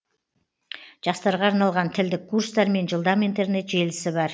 жастарға арналған тілдік курстар мен жылдам интернет желісі бар